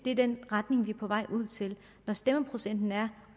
i den retning vi er på vej når stemmeprocenten er